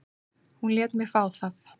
Hún lét mig fá það.